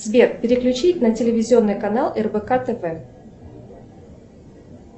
сбер переключи на телевизионный канал рбк тв